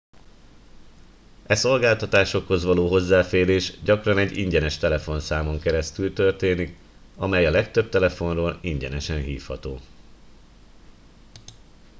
e szolgáltatásokhoz való hozzáférés gyakran egy ingyenes telefonszámon keresztül történik amely a legtöbb telefonról ingyenesen hívható